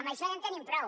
amb això ja en tenim prou